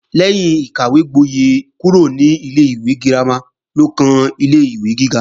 Lẹ́yìn ìkàwégbóyè kúrò ní ilé-ìwé girama ló kan ilé-ìwé gíga